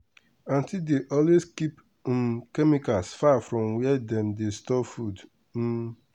aunty dey always keep um chemicals far from where dem dey store food. um